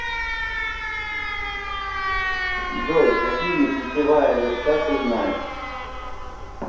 джой какие путевая верста ты знаешь